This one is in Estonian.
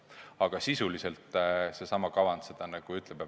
Aga sisuliselt see kavand seda ütleb.